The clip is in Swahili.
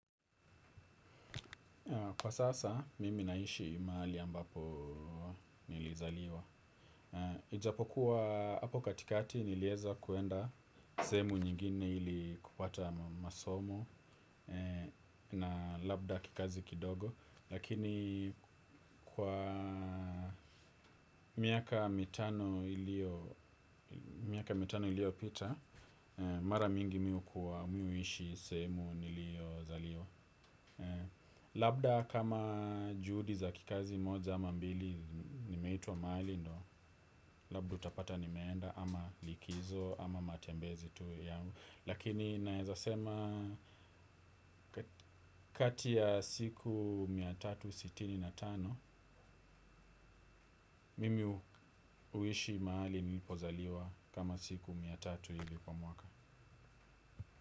Kwa sasa, mimi naishi mahali ambapo nilizaliwa. Ijapokuwa hapo katikati nilieza kuenda sehemu nyingine ili kupata masomo na labda kikazi kidogo. Lakini kwa miaka mitano iliyopita, mara mingi mi hukuwa mi huishi sehemu niliyozaliwa. Labda kama juhudi za kikazi moja ama mbili nimeitwa mahali ndo. Labda utapata nimeenda ama likizo ama matembezi tu ya lakini naeza sema kati ya siku mia tatu sitini na tano. Mimi huishi mahali nilipozaliwa kama siku mia tatu hivi kwa mwaka.